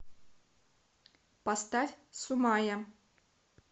поставь суммая